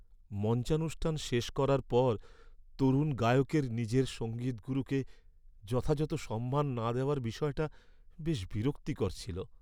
মঞ্চানুষ্ঠান শেষ করার পর তরুণ গায়কের নিজের সঙ্গীত গুরুকে যথাযথ সম্মান না দেওয়ার বিষয়টা বেশ বিরক্তিকর ছিল।